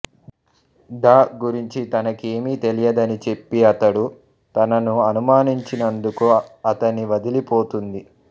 the గురించి తనకేమీ తెలియదని చెప్పి తడు తనను అనుమానించనందుకు అతణ్ణి వదలి పోతుంది